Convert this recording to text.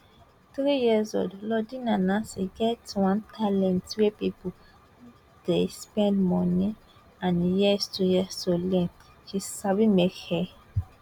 three years old lordina nancy get one talent wey pipo dey spend money and years to years to learn she sabi make hair